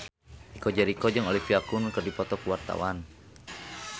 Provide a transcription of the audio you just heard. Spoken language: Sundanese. Chico Jericho jeung Olivia Munn keur dipoto ku wartawan